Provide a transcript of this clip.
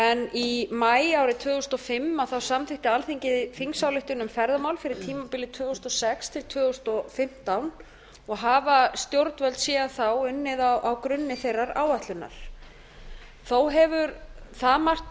í maí árið tvö þúsund og fimm samþykkti alþingi þingsályktun um ferðamál fyrir tímabilið tvö þúsund og sex til tvö þúsund og fimmtán og hafa stjórnvöld síðan þá unnið á grunni þeirrar áætlunar þó hefur það margt